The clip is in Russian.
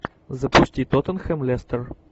запусти тоттенхэм лестер